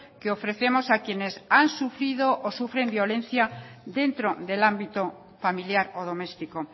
que ofrecemos a quienes han sufrido o sufren violencia dentro del ámbito familiar o doméstico